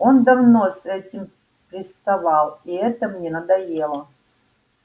он давно с этим приставал и это мне надоело